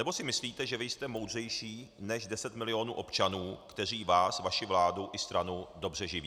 Nebo si myslíte, že vy jste moudřejší než 10 milionů občanů, kteří vás, vaši vládu i stranu dobře živí?